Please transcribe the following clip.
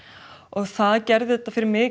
það gerði þetta fyrir mig